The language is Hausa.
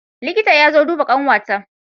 Liƙita ya zo duba ƙanwa ta